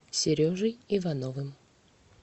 сережей ивановым